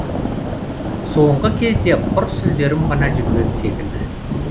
соңғы кезде құр сүлдерім ғана жүрген секілді